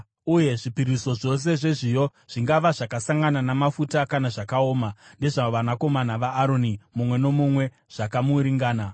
uye zvipiriso zvose zvezviyo zvingava zvakasangana namafuta kana zvakaoma, ndezvavanakomana vaAroni, mumwe nomumwe, zvakamuringana.